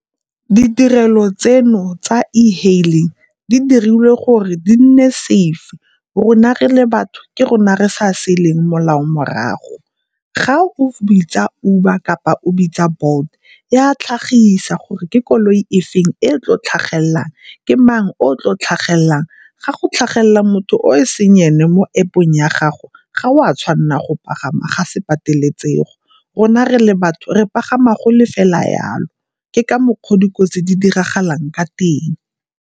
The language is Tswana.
Ditirelo tseno tsa e-hailing di dirile gore di nne safe, rona re le batho ke rona re sa se leng molao morago. Ga o bitsa Uber kapa o bitsa Bolt e a tlhagisa gore ke koloi e feng e e tlo tlhagelelang, ke mang o o tlo tlhagelelang. Ga go tlhagelela motho o e seng ene mo App-ong ya gago, ga o a tshwanna go pagama, ga se pateletsego. Rona re le batho, re pagama go le fela yalo, ke ka mokgwa o dikotsi di diragalang ka teng.